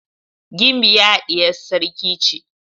Gimbiya diyar sarki ce.